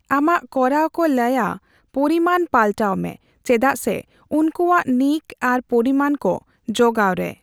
ᱟᱢᱟᱜ ᱠᱚᱨᱟᱣ ᱠᱚ ᱞᱟᱹᱭᱟ ᱯᱚᱨᱤᱢᱟᱱᱱ ᱯᱟᱞᱴᱟᱣᱢᱮ ᱪᱮᱫᱟᱜᱥᱮ ᱩᱱᱠᱩᱣᱟᱜ ᱱᱤᱠ ᱟᱨ ᱯᱚᱨᱤᱢᱟᱱ ᱠᱚ ᱡᱚᱜᱟᱣ ᱨᱮ ᱾